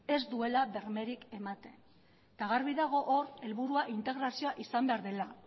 ez duela bermerik ematen eta garbi dago hor helburua integrazioa izan behar dela